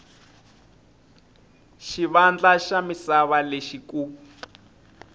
xivandla xa misava lexi ku